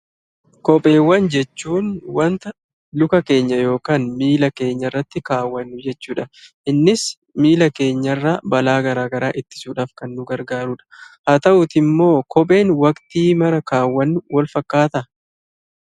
Kopheewwan jechuun wanta luka keenya yokaan miila keenyarratti kaawwannu jechuudha. Innis miila keenyarraa balaa garagaraa ittisuudhaaf kan nu gargaarudha. Haa ta'uutiimmoo kopheen waqtii mara kaawwannu walfakkaataa?